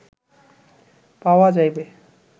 পাওয়া যাইবে